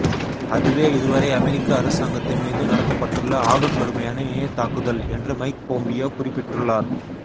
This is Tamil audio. அதுவே இதுவரை அமெரிக்க அரசாங்கத்தின் மீது நடத்தப்பட்டுள்ள ஆகக் கடுமையான இணையத் தாக்குதல் என்றும் மைக் பொம்பியோ குறிபிட்டுள்ளார்